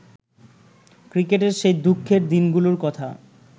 ক্রিকেটের সেই দুঃখের দিনগুলোর কথা